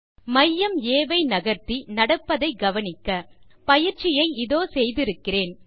மையம் ஆ ஐ நகர்த்தி நடப்பதை கவனிக்க பயிற்சியை இதோ செய்திருக்கிறேன்